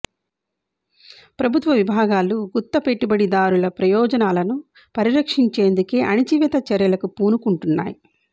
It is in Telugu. ప్రభుత్వ విభాగాలు గుత్త పెట్టుబడిదారుల ప్రయోజనాలను పరిరక్షించేందుకే అణచివేత చర్యలకు పూనుకుంటున్నాయి